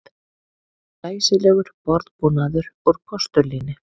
Glæsilegur borðbúnaður úr postulíni